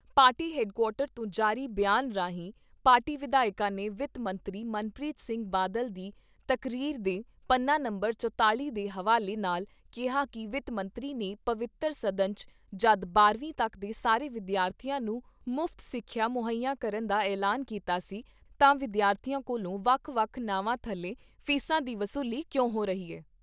Party headquarter ਤੋਂ ਜਾਰੀ ਬਿਆਨ ਰਾਹੀਂ ਪਾਰਟੀ ਵਿਧਾਇਕਾਂ ਨੇ ਵਿੱਤ ਮੰਤਰੀ ਮਨਪ੍ਰੀਤ ਸਿੰਘ ਬਾਦਲ ਦੀ ਤਕਰੀਰ ਦੇ ਪੰਨਾ ਨੰਬਰ ਚੁਤਾਲ਼ੀ ਦੇ ਹਵਾਲੇ ਨਾਲ ਕਿਹਾ ਕਿ ਵਿੱਤ ਮੰਤਰੀ ਨੇ ਪਵਿੱਤਰ ਸਦਨ 'ਚ ਜਦੋਂ ਬਾਰਵੀਂ ਤੱਕ ਦੇ ਸਾਰੇ ਵਿਦਿਆਰਥੀਆਂ ਨੂੰ ਮੁਫ਼ਤ ਸਿੱਖਿਆ ਮੁਹੱਈਆ ਕਰਨ ਦਾ ਐਲਾਨ ਕੀਤਾ ਸੀ ਤਾਂ ਵਿਦਿਆਰਥੀਆਂ ਕੋਲੋਂ ਵੱਖ ਵੱਖ ਨਾਵਾਂ ਥੱਲੇ ਫ਼ੀਸਾਂ ਦੀ ਵਸੂਲੀ ਕਿਉਂ ਹੋ ਰਹੀ ਐ।